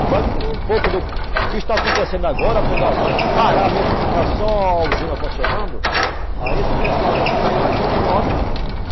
E vai admirar um pouco do que está acontecendo agora quando a, quando parar mesmo que ficar só a usina funcionando, aí esse pessoalzão que está aí vai todo embora.